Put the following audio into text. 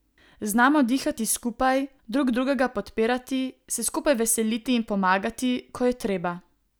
Znamo dihati skupaj, drug drugega podpirati, se skupaj veseliti in pomagati, ko je treba.